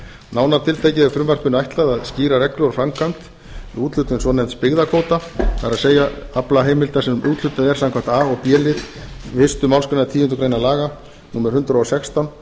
nánar tiltekið er frumvarpinu ætlað að skýra reglur og framkvæmd við úthlutun svonefnds byggðakvóta það er aflaheimilda sem úthlutað er samkvæmt a og b lið fyrstu málsgreinar tíundu grein laga númer hundrað og sextán